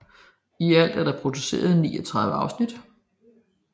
I alt er der produceret 39 afsnit